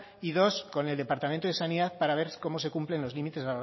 y dos con el departamento de sanidad para ver cómo se cumplen los límites